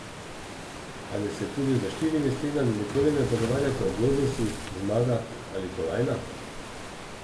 Ali se tudi za štirimi stenami nikoli ne pogovarjate o globusih, zmagah ali kolajnah?